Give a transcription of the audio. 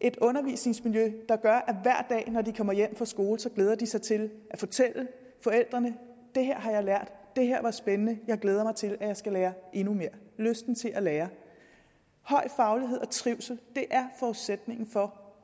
et undervisningsmiljø der gør at når de kommer hjem fra skole glæder sig til at fortælle forældrene det her har jeg lært det her var spændende jeg glæder mig til at jeg skal lære endnu mere giver lysten til at lære høj faglighed og trivsel er forudsætningen for